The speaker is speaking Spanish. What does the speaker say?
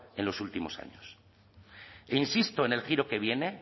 en los últimos años e insisto en el giro que viene